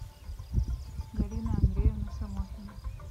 галина андреевна самохина